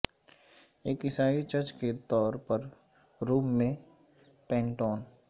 ایک عیسائی چرچ کے طور پر روم میں پینٹون